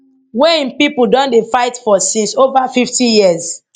wey im pipo don dey fight for since over 50 years